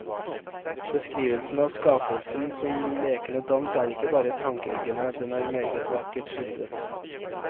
Beskrivelen av skapelsen som lekende dans er ikke bare tankeeggende, den er meget vakkert skildret.